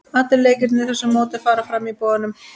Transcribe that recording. Allir leikirnir í þessu móti fara fram í Boganum.